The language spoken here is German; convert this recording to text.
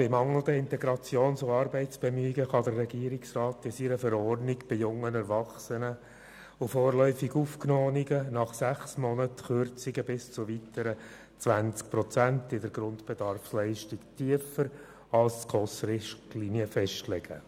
Bei mangelnden Integrations- und Arbeitsbemühungen kann der Regierungsrat aufgrund seiner Verordnung für junge Erwachsene und vorläufig Aufgenommene nach sechs Monaten den Grundbedarf für den Lebensunterhalt bis zu weiteren 20 Prozent tiefer festlegen als es die die SKOS-Richtlinien vorsehen.